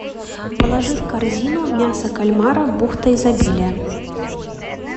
положи в корзину мясо кальмара бухта изобилия